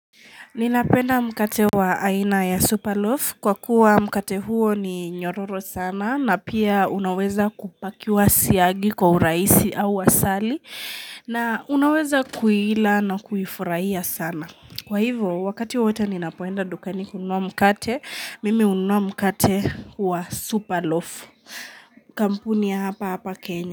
Ninapenda mkate wa aina ya superloaf kwa kuwa mkate huo ni nyororo sana na pia unaweza kupakiwa siyagi kwa uraisi au asali na unaweza kuila na kuifurahia sana. Kwa hivo wakati wote ninapoenda dukani kununua mkate mimi hununua mkate wa superloaf. Kampuni ya hapa hapa Kenya.